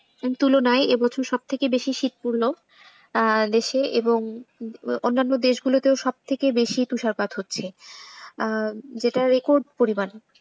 তুলনায় এবছর সবথেকে বেশি শীত পড়ল। আহ দেশে এবং অনান্য দেশগুলোতেও সবথেকে বেশি তুষারপাত হচ্ছে আহ যেটা record পরিমাণ।